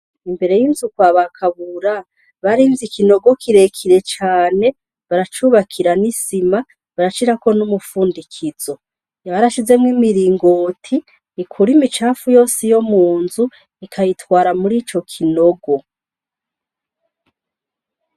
Imbere y'inzukw abakabura barinzi ikinogo kirekire cane baracubakira n'isima baracirako n'umupfundikizo, yabarashizemwo imiringoti ikura imicafu yose iyo mu nzu ikayitwara muri ico kinogo.